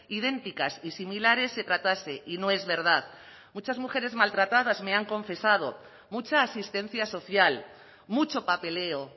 idénticas y similares se tratase y no es verdad muchas mujeres maltratadas me han confesado mucha asistencia social mucho papeleo